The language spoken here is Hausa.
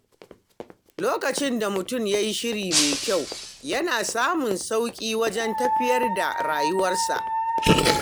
Lokacin da mutum ya yi shiri mai kyau, yana samun sauƙi wajen tafiyar da rayuwarsa.